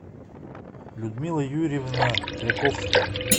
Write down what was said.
людмила юрьевна кряковская